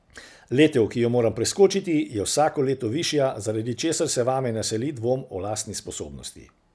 Letev, ki jo moram preskočiti, je vsako leto višja, zaradi česar se vame naseli dvom o lastni sposobnosti.